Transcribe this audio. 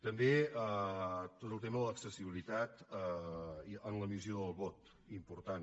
també tot el tema de l’accessibilitat en l’emissió del vot important